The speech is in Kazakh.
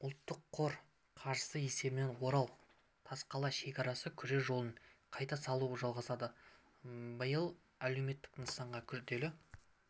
ұлттық қор қаржысы есебінен орал-тасқала шекарасы күре жолын қайта салу жалғасады биыл әлеуметтік нысанға күрделі